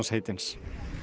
heitins